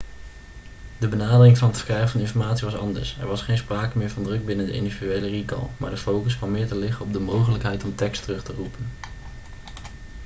de benadering van het verkrijgen van informatie was anders er was geen sprake meer van druk binnen de individuele recall maar de focus kwam meer te liggen op de mogelijkheid om tekst terug te roepen